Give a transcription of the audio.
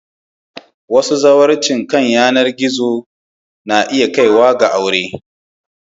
Wasu zawarcin kan layi suna iya sa aure.